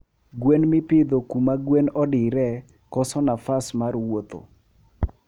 Gwen mipidho kuma gwen odire koso nafas mar wuotho